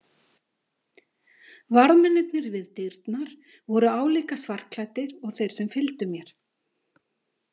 Varðmennirnir við dyrnar voru álíka svartklæddir og þeir sem fylgdu mér.